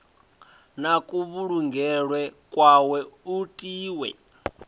na kuvhulungelwe kwawe u tiwa